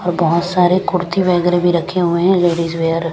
और बहुत सारे कुर्ती वगैरह भी रखे हुए हैं लेडीज़ वियर --